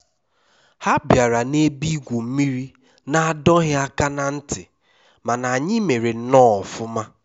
ha bịara na ebe igwu mmiri n'adọghị aka na ntị mana anyị mere nnọọ ọfụma